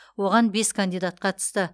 оған бес кандидат қатысты